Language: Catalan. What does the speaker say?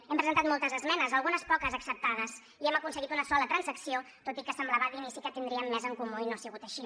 hem presentat moltes esmenes algunes poques acceptades i hem aconseguit una sola transacció tot i que semblava d’inici que tindríem més en comú i no ha sigut així